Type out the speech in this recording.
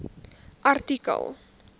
artikel